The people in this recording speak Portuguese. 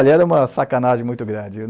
Olha, era uma sacanagem muito grande.